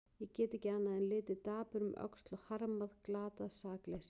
Ég get ekki annað en litið dapur um öxl og harmað glatað sakleysi.